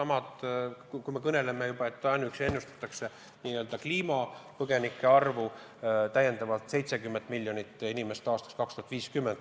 Ainuüksi n-ö kliimapõgenike arvuks ennustatakse täiendavalt 70 miljonit inimest aastaks 2050.